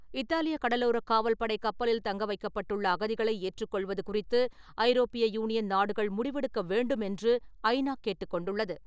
இத்தாலிய கடலோரக் காவல்படை கப்பலில் தங்க வைக்கப்பட்டுள்ள அகதிகளை ஏற்றுக் கொள்வது குறித்து ஐரோப்பிய யூனியன் நாடுகள் முடிவெடுக்க வேண்டுமென்று ஐநா கேட்டுக் கொண்டுள்ளது.